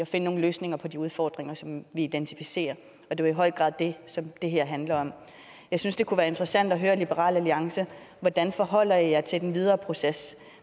finde nogle løsninger på de udfordringer som vi identificerer er jo i høj grad det som det her handler om jeg synes det kunne være interessant at høre liberal alliance hvordan forholder i jer til den videre proces